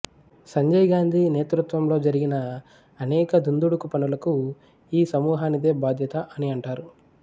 సంజయ్ గాంధీ నేతృత్వంలో జరిగిన అనేక దుందుడుకు పనులకు ఈ సమూహానిదే బాధ్యత అని అంటారు